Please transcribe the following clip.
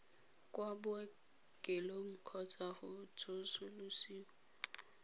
kwa bookelong kgotsa go tsosolosiwa